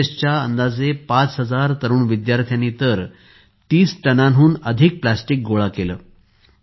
एनएसएसच्या अंदाजे ५००० तरुण विद्यार्थ्यांनी तर ३० टनांहून अधिक प्लास्टिक गोळा केले